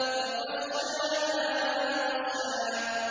فَغَشَّاهَا مَا غَشَّىٰ